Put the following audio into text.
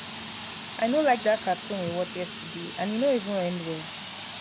i no like dat cartoon we watch yesterday and e no even end well